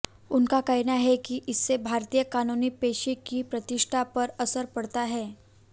उनका कहना है कि इससे भारतीय कानूनी पेशे की प्रतिष्ठा पर असर पड़ता है